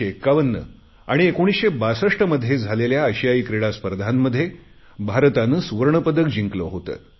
1951 आणि 1962 मध्ये झालेल्या आशियाई क्रीडा स्पर्धांमध्ये भारताने सुवर्णपदक जिंकले होते